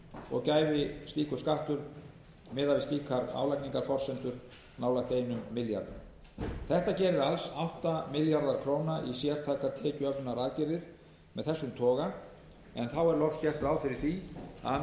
og gæfi slíkur skattur miðað við slíkar álagningarforsendur nálægt einum milljarði króna þetta gerir alls átta milljarða króna í sértækar tekjuöflunaraðgerðir af þessum toga en þá er loks gert ráð fyrir því að